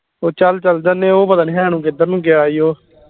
ਉਹ ਚਲ ਜਾਂਦੇ ਉਹ ਪਤਾ ਨੀ ਹੈ ਨੂੰ ਕਿੱਧਰ ਨੂੰ ਗਿਆ ਈ ਉਹ